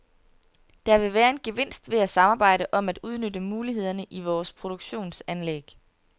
Der vil være en gevinst ved at samarbejde om at udnytte mulighederne i vores produktionsanlæg.